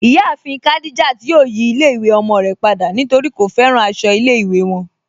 Iyàáfin Khadijat yóò yí ilẹ̀-ìwé ọmọ rẹ̀ pada nítorí kò fẹ́ràn àṣọ ilẹ̀-ìwé wọn.